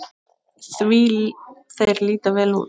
Því þeir líta vel út?